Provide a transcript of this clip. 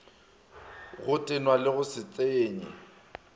go tenwa go se tsenye